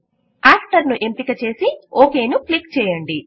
after ను ఎంపిక చేసి ఓకే ను క్లిక్ చేయండి